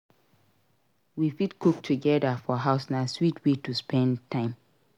We fit cook together for house; na sweet way to spend time.